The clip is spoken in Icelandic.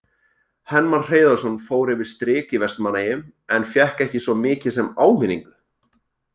Hermann Hreiðarsson fór yfir strik í Vestmannaeyjum en fékk ekki svo mikið sem áminningu.